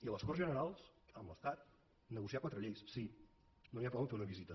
i a les corts generals amb l’estat negociar quatre lleis sí no n’hi ha prou a fer una visita